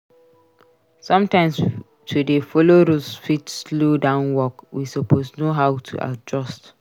Sometimes to dey follow rules fit slow down work. We suppose know how to adjust.